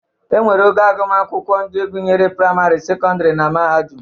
Enwere ogo agụmakwụkwọ atọ ndị gụnyere: prịamarị, sekọndịrị na mahadụm.